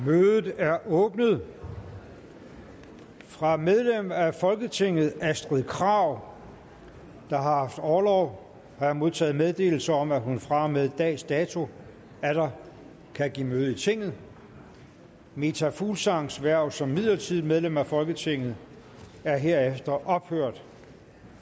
mødet er åbnet fra medlem af folketinget astrid krag der har haft orlov har jeg modtaget meddelelse om at hun fra og med dags dato atter kan give møde i tinget meta fuglsangs hverv som midlertidigt medlem af folketinget er herefter ophørt